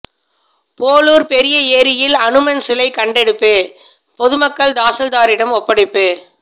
போளூர் பெரிய ஏரியில் அனுமன் சிலை கண்டெடுப்பு பொதுமக்கள் தாசில்தாரிம் ஒப்படைப்பு